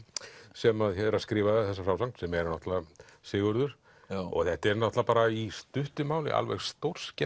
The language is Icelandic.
sem er að skrifa þessa frásögn sem er náttúrulega Sigurður og þetta er náttúrulega bara í stuttu máli alveg stórskemmtileg